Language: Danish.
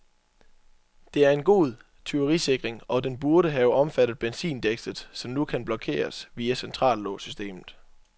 Det er en god tyverisikring, og den burde have omfattet benzindækslet, som nu kun blokeres via centrallåssystemet.